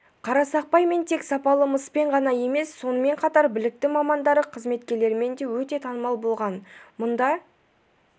қарсақпай тек сапалы мыспен ғана емес сонымен қатар білікті мамандары қызметкерлерімен де өте танымал болған мұнда